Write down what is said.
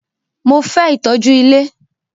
Mo fẹ́ ìtọ́jú ilé!